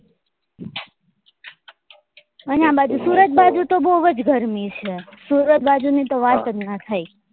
અને આ બાજુ સુરત બાજુ તો બઉ જ ગરમી છે સુરત બાજુ ની તો વાત જ નાં થાય